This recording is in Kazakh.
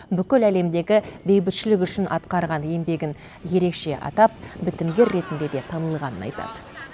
бүкіл әлемдегі бейбітшілік үшін атқарған еңбегін ерекше атап бітімгер ретінде де танылғанын айтады